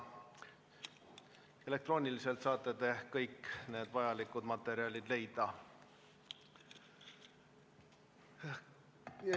Elektrooniliselt saate te kõik need vajalikud materjalid leida.